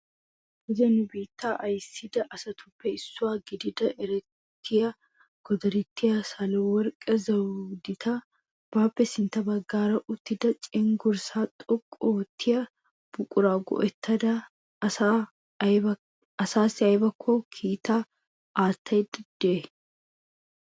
Kase nu biittaa ayssida asatuppe issuwaa gidida erettiya Godartiya SahalaWeerqqe Zawudita baappe sintta baggaara uttida cenggurssa xoqqu oottiya buqura go"ettada asassi aybba kiittaa aattayde de'ay?